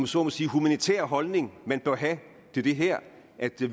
så må sige humanitære holdning man bør have til det her